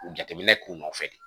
U jateminɛ k'u nɔfɛ de